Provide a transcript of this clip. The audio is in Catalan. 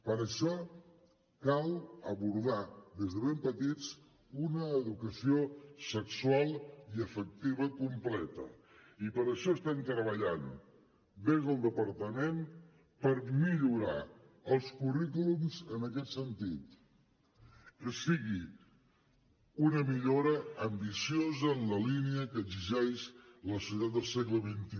per això cal abordar des de ben petits una educació sexual i afectiva completa i per això estem treballant des del departament per millorar els currículums en aquest sentit que sigui una millora ambiciosa en la línia que exigeix la societat del segle xxi